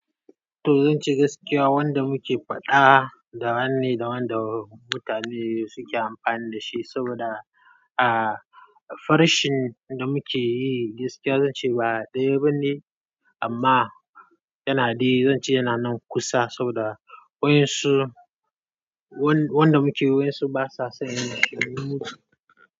To, zan ce gaskiya wanda muke faɗa da wanni, da wanda mutane suke amfani da shi saboda, ah, farashin da muke yi gaskiya zan ce ba ɗaya bane. Amma, yana dai, zan ce yana nan kusa saboda waɗansu, wanda muke wayan su basa son yin shiru.